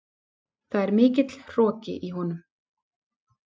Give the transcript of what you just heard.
Það er mikill hroki í honum.